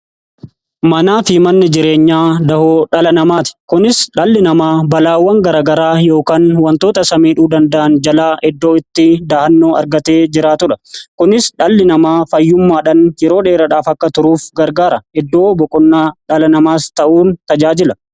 Manaa fi manni jireenyaa dahoo dhala namaati. Kunis dhalli namaa balaawwan garagaraa yookaan wantoota samiidhuu danda'an jalaa eddoo itti dahannoo argatee jiraatudha. Kunis dhalli namaa fayyummaadhan yeroo dheeradhaaf akka turuuf gargaara. Iddoo boqonnaa dhala namaas ta'uun tajaajila.